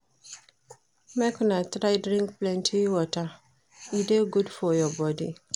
Make una try drink plenty water, e dey good for your bodi.